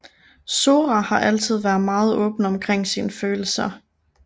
Sora har altid været meget åben omkring sine følelser